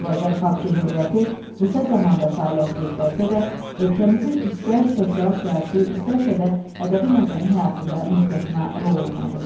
Azərbaycan Xalq Cümhuriyyəti qısa zamanda fəaliyyət göstərsə də, ölkəmizin istər sosial-siyasi, istərsə də ədəbi-mədəni həyatında müstəsna rol oynadı.